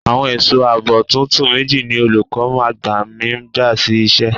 Àwọn ẹ̀sọ́ àbò tuntun méjì ni olùkọ́ àgbà mi gbà sí iṣẹ́.